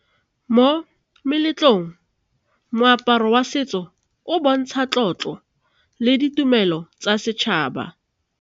Mo meletlong moaparo wa setso o bontsha tlotlo le ditumelo tsa setšhaba.